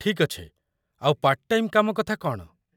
ଠିକ୍ ଅଛି, ଆଉ ପାର୍ଟ ଟାଇମ୍ କାମ କଥା କ'ଣ?